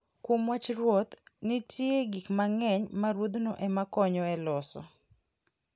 Kuom wach ruoth, nitie gik mang'eny ma ruodhno ema konyo e loso.